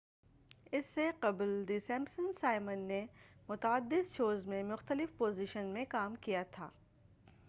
اس سے قبل the Simpsons Simon نے متعدد شوز میں مختلف پوزیشنس میں کام کیا تھا